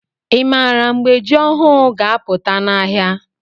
i maara mgbe jị ọhụụ ga- aputa n' ahịa?